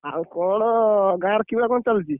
ଆଉ କଣ ଗାଁରେ କିଭଳିଆ କଣ ଚାଲିଛି?